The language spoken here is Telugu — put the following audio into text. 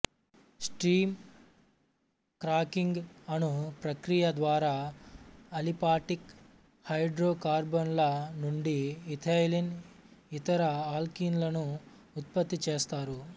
స్టీమ్ క్రాకింగ్ అను ప్రక్రియ ద్వారా అలిపాటిక్ హైడ్రోకార్బన్లనుండి ఇథైలిన్ ఇతర ఆల్కినులను ఉత్పత్తి చేస్తారు